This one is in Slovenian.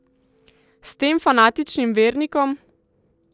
S tem fanatičnim vernikom?